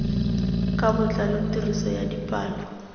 ka botlalo tiriso ya dipalo